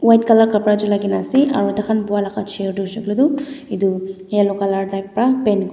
white colour kapra chulai kena ase aru taikhan buhaa laka chair toh hoishae koilae tu yellow colour type para paint .